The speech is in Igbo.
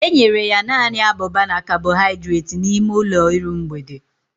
Enyere ya naanị abụba na kabọhaidreeti n'ime ụlọ iru mgbede